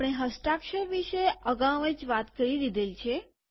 આપણે હસ્તાક્ષર વિષે અગાઉ જ વાત કરી દીધેલ છે